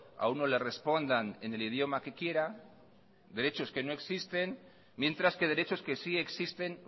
a uno le respondan en el idioma que quiera derechos que no existen mientras que derechos que sí existen